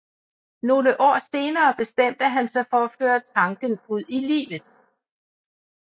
Nogle år senere bestemte han sig for at føre tanken ud i livet